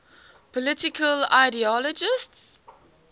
political ideologies